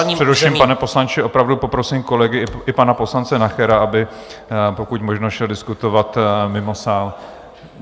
Já vás přeruším, pane poslanče, opravdu poprosím kolegy i pana poslance Nachera, aby pokud možno šli diskutovat mimo sál.